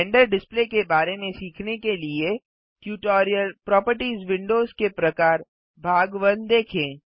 render display के बारे में सीखने के लिए टयूटोरियल प्रोपर्टिज़ विन्डोज़ के प्रकार भाग 1 देखें